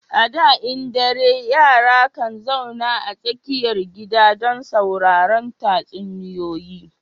A da in dare yara kan zauna a tsakar gida domin sauraran tatsuniyoyi